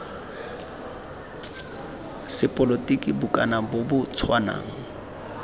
sepolotiki bokana bo bo tshwanang